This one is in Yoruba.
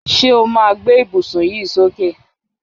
Ṣé o ma gbé ìbùsùn yí sókè?